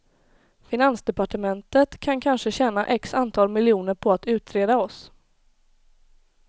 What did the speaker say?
Finansdepartementet kan kanske tjäna x antal miljoner på att utreda oss.